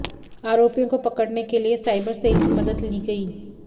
आरोपियों को पकड़ने के लिए साइबर सेल की मदद ली गई